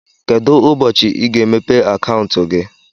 Kedụ ụbọchị i ga- emepe akauntu gị?